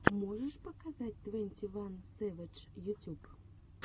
можешь показать твенти ван сэвэдж ютюб